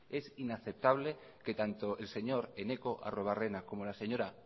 es inaceptable que tanto el señor eneko arruebarrena como la señora